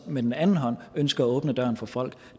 med den anden hånd ønsker at åbne døren for folk